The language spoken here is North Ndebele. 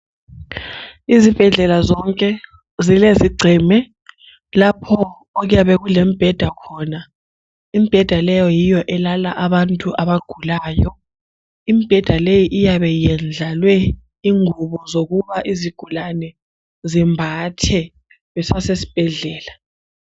Izibhedlela zonke zilezigceme lapho okuyabe kulembeda khona. Imbeda leyo yiyo elala abantu abagulayo. Imbeda leyi iyabe iyendlalwe ingubo zokuba izigulane zimbathe besasesbhedlela.